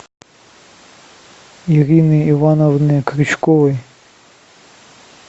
ирины ивановны крючковой